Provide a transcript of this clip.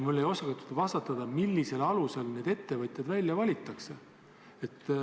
Mulle ei osatud vastata, millisel alusel need ettevõtjad välja valitakse.